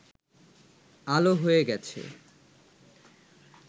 আলো হয়ে গেছে